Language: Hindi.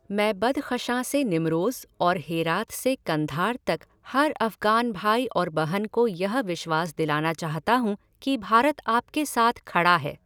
मैं बदख़शां से निमरोज़ और हेरात से कंधार तक हर अफगान भाई और बहन को यह विश्वास दिलाना चाहता हूँ कि भारत आपके साथ खड़ा है।